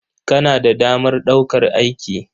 Kana da damar ɗaukar aiki?